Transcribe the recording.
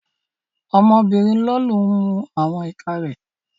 Ọmọ obìnrin Lolú ń mu àwọn ìka rẹ̀